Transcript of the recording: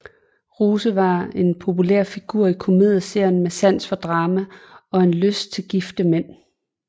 Rose var en populær figur i komedieserien med sans for drama og en lyst til gifte mænd